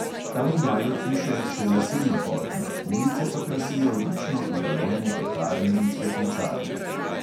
Tam imajo hiše še lesena polkna, ulice pa krasijo lično urejene pekarne in cvetličarne.